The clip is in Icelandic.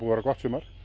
vera gott sumar